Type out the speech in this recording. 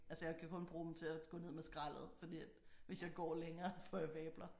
Altså jeg kan kun bruge dem til at gå ned med skraldet fordi at hvis jeg går længere får jeg vabler